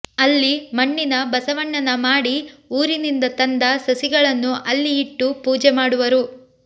ಅಲ್ಲಿ ಮಣ್ಣಿನ ಬಸವಣ್ಣನ ಮಾಡಿ ಊರಿನಿಂದ ತಂದ ಸಸಿಗಳನ್ನು ಅಲ್ಲಿ ಇಟ್ಟು ಪೂಜೆ ಮಾಡುವರು